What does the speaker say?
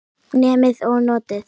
Nemið og notið.